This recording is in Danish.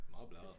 Meget blæret